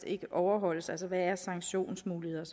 ikke overholdes altså hvad er sanktionsmulighederne